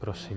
Prosím.